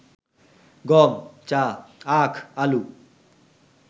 গম, চা, আখ, আলু